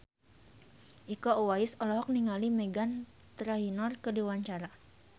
Iko Uwais olohok ningali Meghan Trainor keur diwawancara